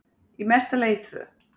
Í mesta lagi tvö.